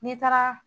N'i taara